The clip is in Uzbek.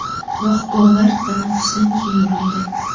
Biroq gollar tanaffusdan keyin urildi.